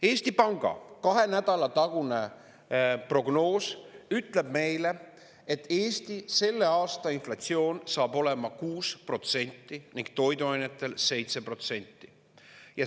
Eesti Panga kahe nädala tagune prognoos ütleb meile, et Eesti selle aasta inflatsioon saab olema 6% ning toiduainetel 7%.